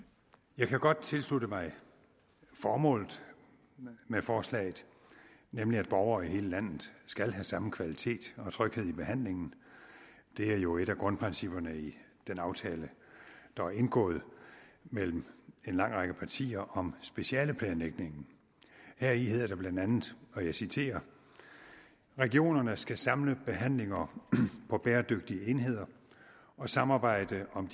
jeg kan godt tilslutte mig formålet med forslaget nemlig at borgere i hele landet skal have samme kvalitet og tryghed i behandlingen det er jo et af grundprincipperne i den aftale der er indgået mellem en lang række partier om specialeplanlægningen heri hedder det blandt andet og jeg citerer regionerne skal samle behandlinger på bæredygtige enheder og samarbejde om